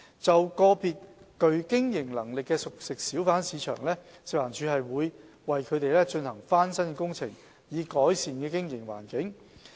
就個別具經營能力的熟食小販市場，食環署會為其進行翻新工程，以改善經營環境。